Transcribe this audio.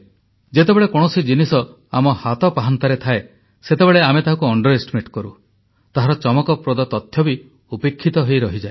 ଯେତେବେଳେ କୌଣସି ଜିନିଷ ଆମ ହାତ ପାହାନ୍ତାରେ ଥାଏ ସେତେବେଳେ ଆମେ ତାହାକୁ ନଗଣ୍ୟ ମନେ କରୁ ତାହାର ଚମକପ୍ରଦ ତଥ୍ୟ ବି ଉପେକ୍ଷିତ ହୋଇରହିଯାଏ